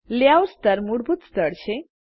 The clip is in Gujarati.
લેયઆઉટ સ્તર મૂળભૂત સ્તર છે